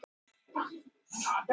Talið að kona hafi sprengt